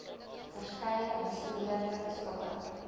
verskeie besoedelende stowwe